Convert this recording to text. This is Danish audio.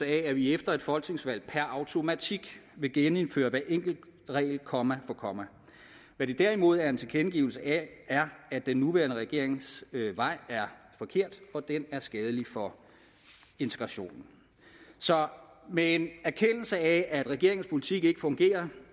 af at vi efter et folketingsvalg per automatik vil genindføre hver enkelt regel komma for komma hvad det derimod er en tilkendegivelse af er at den nuværende regerings vej er forkert for den er skadelig for integrationen så med en erkendelse af at regeringens politik ikke fungerer